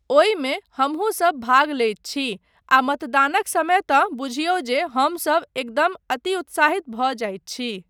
ओहिमे हमहुँसब भाग लैत छी आ मतदानक समय तँ बुझिऔ जे हमसब एकदम अति उत्साहित भऽ जाइत छी।